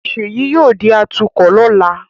Ṣèyí yóò di atukọ̀ lọ́la